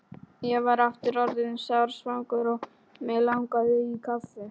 Ég var aftur orðinn sársvangur og mig langaði í kaffi.